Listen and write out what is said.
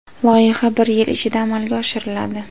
Loyiha bir yil ichida amalga oshiriladi.